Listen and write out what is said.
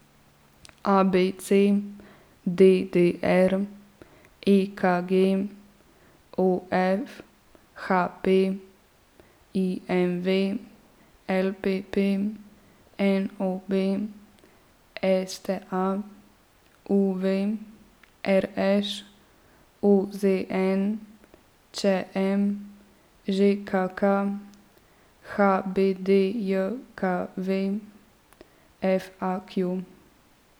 A B C; D D R; E K G; O F; H P; I M V; L P P; N O B; S T A; U V; R Š; O Z N; Č M; Ž K K; H B D J K V; F A Q.